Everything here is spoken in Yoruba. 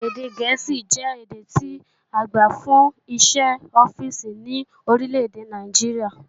Èdè Gẹ̀ẹ́sì jẹ́ èdè tí agbà fún iṣẹ́ ọ́fíìsì ní orílèdè Nàìjíríà